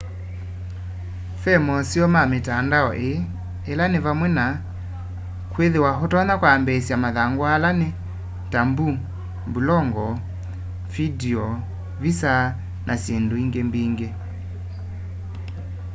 ve moseo ma mitandao ii ila ni vamwe na kwithiwa utonya kwambiisya mathangu ala ni ta mbulongo vindio visa na syindu ingi mbingi